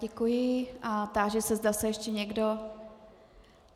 Děkuji a táži se, zda se ještě někdo...